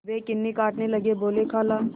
वे कन्नी काटने लगे बोलेखाला